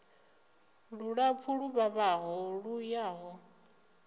lulapfu lu vhavhaho lu yaho